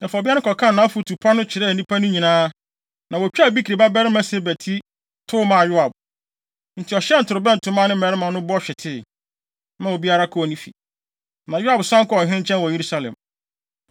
Afei, ɔbea no kɔkaa nʼafotu pa no kyerɛɛ nnipa no nyinaa. Na wotwaa Bikri babarima Seba ti, tow maa Yoab. Enti ɔhyɛn torobɛnto maa ne mmarima no bɔ hwetee, maa obiara kɔɔ ne fi. Na Yoab san kɔɔ ɔhene nkyɛn wɔ Yerusalem.